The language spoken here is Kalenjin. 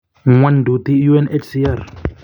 Ngwooyduti UNHCR.